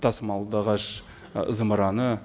тасымалдағыш ы зымыраны